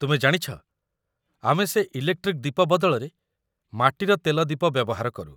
ତୁମେ ଜାଣିଛ, ଆମେ ସେ ଇଲେକ୍ଟ୍ରିକ୍ ଦୀପ ବଦଳରେ ମାଟିର ତେଲ ଦୀପ ବ୍ୟବହାର କରୁ ।